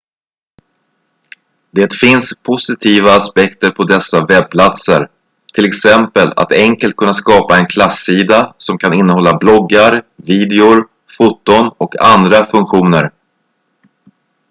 det finns positiva aspekter på dessa webbplatser t.ex att enkelt kunna skapa en klassida som kan innehålla bloggar videor foton och andra funktioner